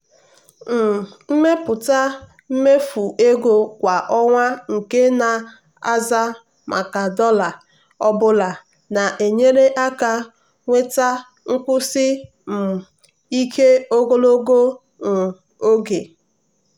um ịmepụta mmefu ego kwa ọnwa nke na-aza maka dollar ọ bụla na-enyere aka nweta nkwụsi um ike ego ogologo um oge.